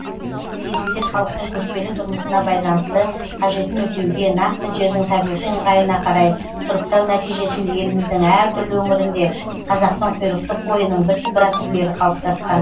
кезінде халықтың көшпелі тұрмысына байланысты қажетін өтеуге нақты жердің табиғи ыңғайына карай сұрыптау нәтижесінде еліміздің әр түрлі өңіріңде қазақтың құйрықты қойының бірсыпыра түрлері қалыптасқан